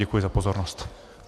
Děkuji za pozornost.